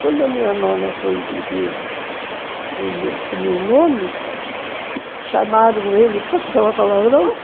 Quando a minha nona foi viver com o meu nono, chamaram ele... Posso falar palavrão?